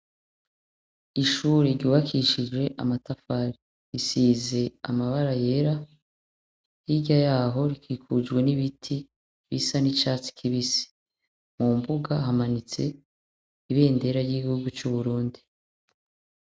Ishuri giwakishije amatafari risize amabara yera irya yaho rikikujwe n'ibiti bisa n'icatsi kibise mu mbuga hamanitse ibe ndera ry'igihugu c'uburundi.